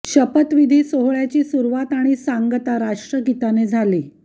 शपथ विधी सोहळ्याची सुरुवात आणि सांगता राष्ट्रगीताने झाली